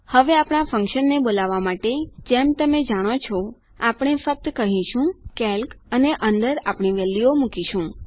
હવે આપણા ફન્કશન ને બોલાવવા માટે જેમ તમે જાણો છો આપણે ફક્ત કહીશું કેલ્ક અને અંદર આપણી વેલ્યુઓ મુકીશું